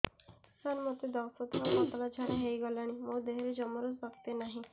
ସାର ମୋତେ ଦଶ ଥର ପତଳା ଝାଡା ହେଇଗଲାଣି ମୋ ଦେହରେ ଜମାରୁ ଶକ୍ତି ନାହିଁ